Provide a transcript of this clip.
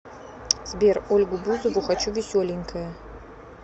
сбер ольгу бузову хочу веселенькое